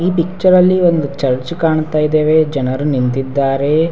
ಈ ಪಿಚ್ಚರಲ್ಲಿ ಒಂದು ಚರ್ಚ್ ಕಾಣ್ತಾ ಇದೇವೆ ಜನರು ನಿಂತಿದ್ದಾರೆ.